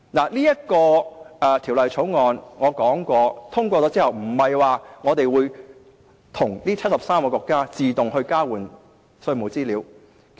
我剛才提到，《條例草案》獲得通過，並不代表我們會與73個國家自動交換稅務資料。